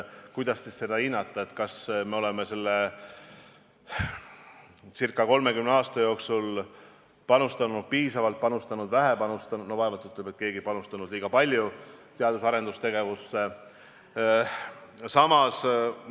Kuidas siis seda hinnata, kas me oleme selle circa 30 aasta jooksul panustanud piisavalt või panustanud vähe – no vaevalt, et me kellegi arvates oleme panustanud liiga palju – teadus- ja arendustegevusse?